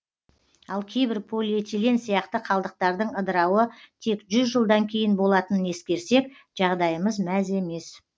ал кейбір полиэтилен сияқты қалдықтардың ыдырауы тек жүз жылдан кейін болатынын ескерсек жағдайымыз мәз емес